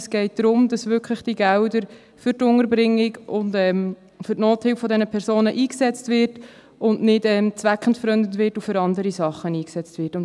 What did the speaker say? Es geht darum, dass diese Gelder wirklich für die Unterbringung und die Nothilfe dieser Personen eingesetzt werden und nicht zweckentfremdet und für andere Sachen eingesetzt werden.